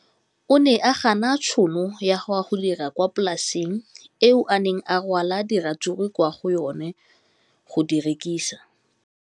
O ne a gana tšhono ya go dira kwa polaseng eo a neng rwala diratsuru kwa go yona go di rekisa.